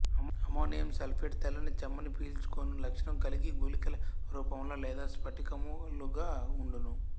ammonium sulphate తెల్లని చెమ్మని పిల్చు కొను లక్షణం కలిగి గుళికల రూపంలో లేదా స్పటికము లుగా ఉండును